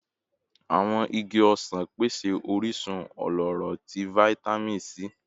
Awọn igi osan pese orisun ọlọrọ ti Vitamin C